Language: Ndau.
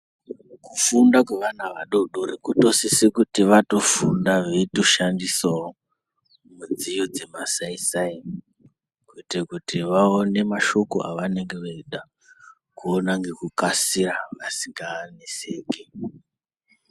Kufunda kwevana vadodori kunosise kuti vatofunda vaitoshandisawo midziyo dzemasai sai kuita kuti vaone mashoko avanenge veida kuona ngekukasira vasinganeseki.